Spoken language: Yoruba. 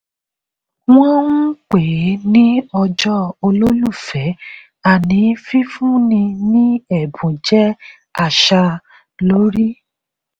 wọ́n ń pèé ní ọjọ́ olólùfẹ́ àní fífúnni ní ẹ̀bùn jẹ́ àṣà lórí.